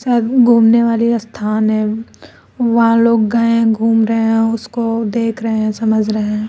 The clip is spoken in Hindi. एह घूमने वाले स्थान है वहां लोग गए हैं घूम रहे हैं उसको देख रहे है समझ रहे है।